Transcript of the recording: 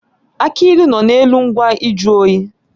Aki ilu nọ n'elu ngwa nju oyi